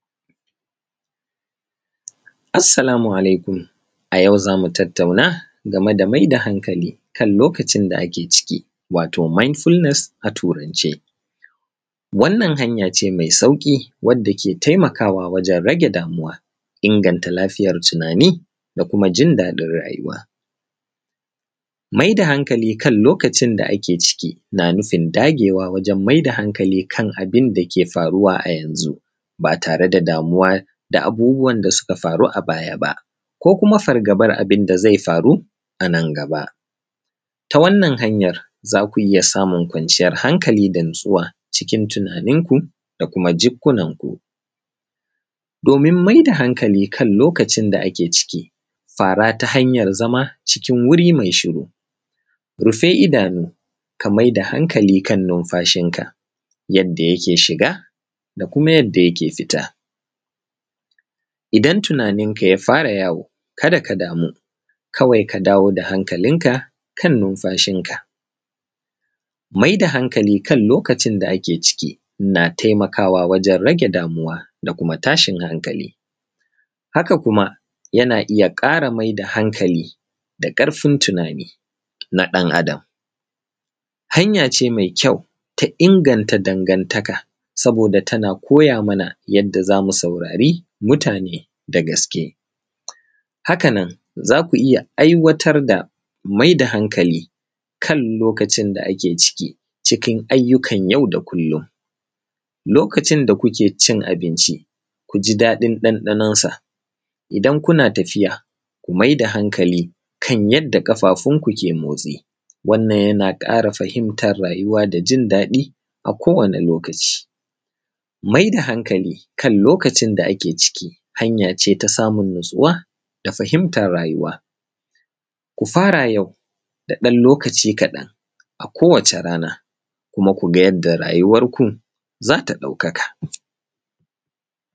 Assalamu alaikum. A yau za mu tattauna game da mai da hankali kan lokacin da ake ciki wato ‘mindfulness’ a Turance. Wannan hanya ce mai sauƙi wadda ke taimakawa wajen rage damuwa, inganta lafiyar tunani, da kuma jin daɗin rayuwa. Mai da hankali kan lokacin da ake ciki, na nufin dagewa wajen mai da hankali kan abin da ke faruwa a yanzu, ba tare da damuwa da abubuwan da suka faru a baya ba. Ko kuma fargabar abin da zai faru, a nan gaba. Ta wannan hanyar, za ku iya samun kwanciyar hankali da natsuwa, cikin tunaninku da kuma jikkunanku. Domin mai da hankali kan lokacin da ake ciki, fara ta hanyar zama, cikin wuri mai shiru, rufe idanu, ka mai da hankali kan numfashinka, yadda yake shiga da kuma yadda yake fita. Idan tunaninka ya fara yawo, kada ka damu, kawai ka dawo da hankalinka kan numfashinka. Mai da hankali kan lokacin da ake ciki, na taimakawa wajen rage damuwa da kuma tashin hankali. Haka kuma, yana iya ƙara mai da hankali, da ƙarfin tunani na ɗan’adam. Hanya ce mai kyau ta inganta dangantaka saboda tana koya mana yadda za mu saurari mutane da gaske. Hakanan, za ku iya aiwatar da mai da hankali kan lokacin da ake ciki cikin ayyukan yau da kullum. Lokacin da kuke cin abinci, ku ji daɗin ɗanɗanonsa, idan kuna tafiya, ku mai da hankali kan yadda ƙafafunku ke motsi, wannan yana ƙara fahimtar rayuwa da jin daɗi a kowane lokaci. Mai da hankali kan lokacin da ake ciki, hanya ce ta samun natsuwa da fahimtar rayuwa. Ku fara yau, da ɗan lokaci kaɗan a kowace rana, kuma ku ga yadda rayuwarku, za ta ɗaukaka.